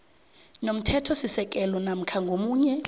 nomthethosisekelo namkha ngomunye